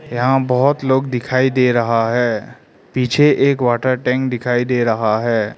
यहां बहुत लोग दिखाई दे रहा है पीछे एक वाटर टैंक दिखाई दे रहा है।